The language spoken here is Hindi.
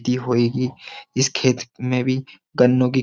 होएगी इस खेत में भी गन्नो की --